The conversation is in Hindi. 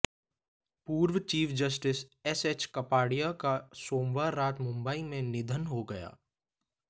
पूर्व chief justice S H Kapadia का सोमवार रात मुंबई में निधन हो गया